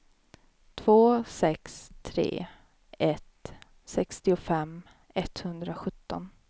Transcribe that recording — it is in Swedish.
två sex tre ett sextiofem etthundrasjutton